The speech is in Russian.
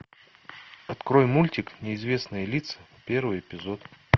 открой мультик неизвестные лица первый эпизод